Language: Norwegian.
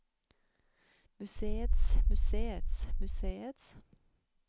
museets museets museets